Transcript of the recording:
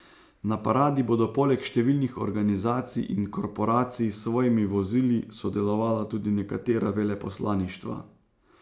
Na paradi bodo poleg številnih organizacij in korporacij s svojimi vozili sodelovala tudi nekatera veleposlaništva.